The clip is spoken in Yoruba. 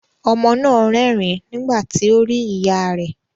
Ọmọ náà rẹ́rìn nígbà tí ó rí ìyá ẹ̀.